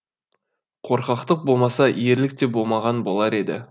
қорқақтық болмаса ерлік те болмаған болар еді